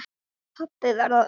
Pabbi varð á undan.